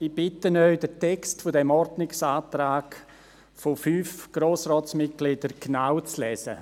– Ich bitte Sie, den Text dieses Ordnungsantrags von fünf Grossratsmitgliedern genau zu lesen.